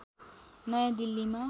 नयाँ दिल्लीमा